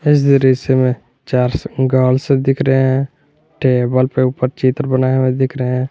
इस दृश्य मे चार गर्ल्स दिख रहे हैं टेबल पर ऊपर चित्र बनाए हुए दिख रहे--